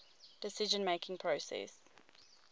decision making process